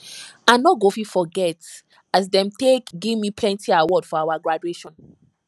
i no go fit forget as dem take give me plenty award for our graduation